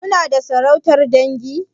Suna da sarautar dangi?